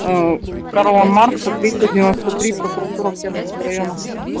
карла маркса триста девяноста три прокуратура октябрьского района